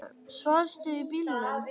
Svafstu í bílnum?